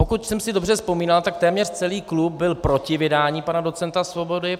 Pokud jsem si dobře vzpomínal, tak téměř celý klub byl proti vydání pana docenta Svobody.